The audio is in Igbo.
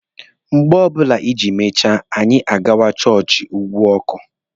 Mgbe ọbụla ijiri mechaa, anya àgwà chọọchị ugwu ọkụ.